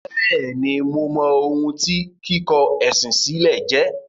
Bẹ́ẹ̀ni, mo mọ ohun tí “ kíkọ ẹ̀sìn sílẹ̀” jẹ́.